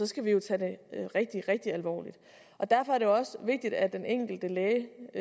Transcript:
skal vi jo tage det rigtigt rigtigt alvorligt derfor er det jo også vigtigt at den enkelte læge